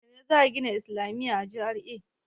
Yaushe za a gina islamiya a GRA?